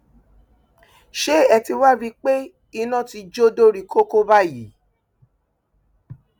ṣé ẹ ti wáá rí i pé iná ti jó dórí kókó báyìí